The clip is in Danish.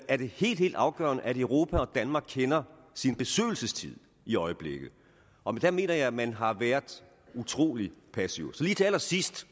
er det helt helt afgørende at europa og danmark kender sin besøgelsestid i øjeblikket og der mener jeg at man har været utrolig passiv lige til allersidst